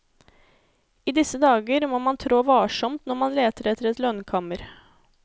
I disse dager må man trå varsomt når man leter etter et lønnkammer.